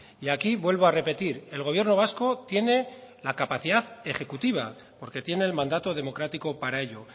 y aquí vuelvo a repetir el gobierno vasco tiene la capacidad ejecutiva porque tiene el mandato democrático para ello